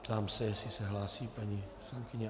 Zeptám se, jestli se hlásí paní poslankyně.